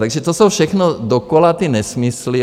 Takže to jsou všechno dokola ty nesmysly.